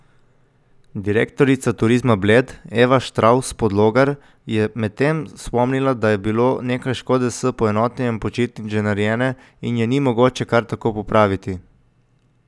Direktorica Turizma Bled Eva Štravs Podlogar je medtem spomnila, da je bilo nekaj škode s poenotenjem počitnic že narejene in je ni mogoče kar tako popraviti.